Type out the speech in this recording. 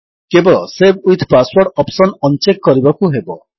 କେବଳ save with password option on check କରିବାକୁ ହେବ